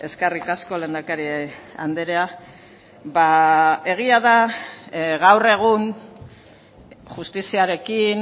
eskerrik asko lehendakari andrea ba egia da gaur egun justiziarekin